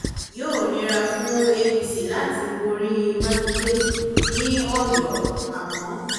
yóò nira fún apc láti borí mákindè ní ọ̀yọ́ àmọ́